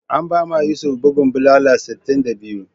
An bama Yusuf bugun bulala sitin da biyu.